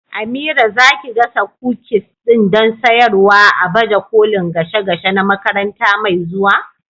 Amira, za ki gasa kukis din don sayarwa a baje kolin gashe gashe na makaranta mai zuwa?